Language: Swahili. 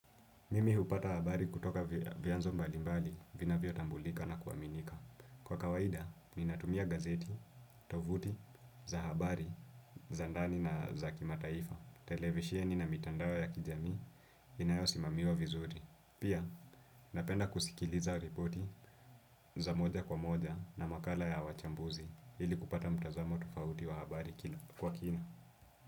Mimi hupata habari kutoka vyanzo mbalimbali, vinavyotambulika na kuaminika. Kwa kawaida, ninatumia gazeti, tovuti za habari, za ndani na za kimataifa, televisheni na mitandao ya kijamii, inayosimamiwa vizuri. Pia, napenda kusikiliza ripoti za moja kwa moja na makala ya wachambuzi, ili kupata mtazamo tofauti wa habari kwa kina.